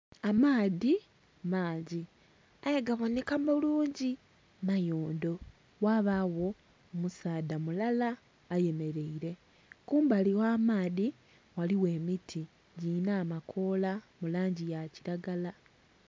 Amaadhi mangi aye gabomheka bulungi mayondho ghabagho omusaadha mulala aye mereire kumbali gha maadhi ghaligho emiti gilinha amakoola mu langi ya kilagala.